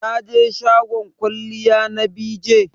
Taje shagon kwalliya na BeeJay?